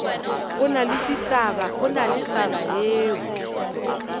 go na le taba yeo